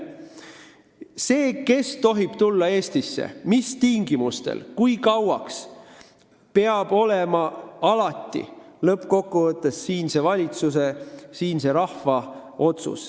See, kes tohib Eestisse tulla, mis tingimustel, kui kauaks, peab olema lõppkokkuvõttes siinse valitsuse, siinse rahva otsus.